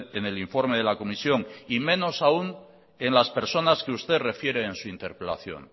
en el informe de la comisión y menos aún en las personas que usted refiere en su interpelación